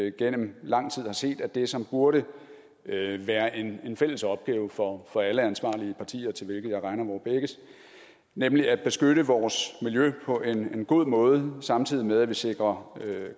igennem lang tid har set at det som burde være en fælles opgave for for alle ansvarlige partier til hvilke jeg regner vore begges nemlig at beskytte vores miljø på en god måde samtidig med at vi sikrer